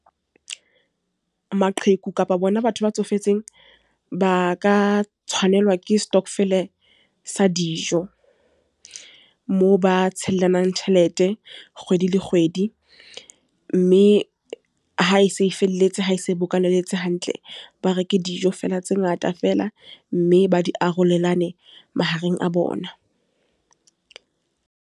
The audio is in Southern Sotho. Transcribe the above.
Maqheku kapa bona batho ba tsofetseng. Ba ka tshwanelwa ke stokvel sa dijo. Moo ba tshellanang tjhelete kgwedi le kgwedi. Mme ha e se e felletse ha e se bokaneletse hantle. Ba reke dijo fela tse ngata feela, mme ba di arolelane mahareng a bona.